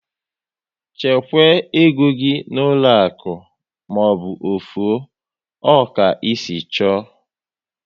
Chekwaa égo gị n'ụlọ akụ maọbụ ofu o! Ọ ka esi chọọ